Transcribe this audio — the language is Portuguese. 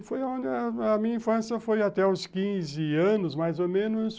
Foi onde a a minha infância foi até os quinze anos, mais ou menos.